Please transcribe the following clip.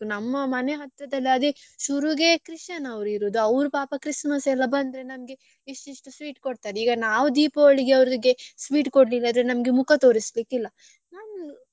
ನಮ್ಮ ಮನೆ ಹತ್ರ ಅದೇ ಶುರುಗೆ Christian ಅವ್ರು ಇರುದು ಅವ್ರು ಪಾಪ Christmas ಎಲ್ಲ ಬಂದ್ರೆ ನಮ್ಗೆ ಇಷ್ಟ್ ಇಷ್ಟ್ sweet ಕೊಡ್ತಾರೆ ಈಗ ನಾವ್ Deepavali ಗೆ ಅವ್ರಿಗೆ sweet ಕೊಡ್ಲಿಲ್ಲ ಅಂದ್ರೆ ನಮ್ಗೆ ಮುಖ ತೋರಿಸ್ಲಿಕ್ಕೆ ಇಲ್ಲ.